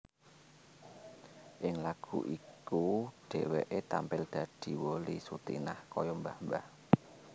Ing lagu iku dhéwéké tampil dadi Wolly Sutinah kaya mbah mbah